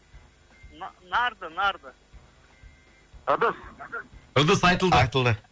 н нарды нарды ыдыс ыдыс айтылды айтылды